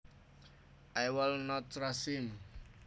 I would not trust him